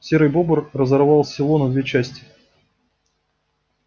серый бобр разорвал сало на две части